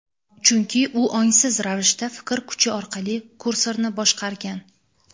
chunki u ongsiz ravishda fikr kuchi orqali kursorni boshqargan.